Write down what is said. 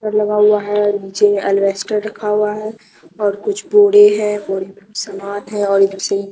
लगा हुआ है नीचे एलवेस्टर रखा हुआ है और कुछ बोरे हैं और सामान है और --